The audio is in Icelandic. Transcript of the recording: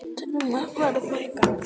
Telma: Verður fækkað?